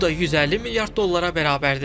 Bu da 150 milyard dollara bərabərdir.